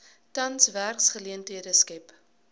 tans werksgeleenthede skep